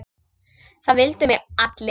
Það vildu mig allir.